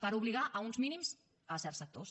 per obligar a uns mínims certs sectors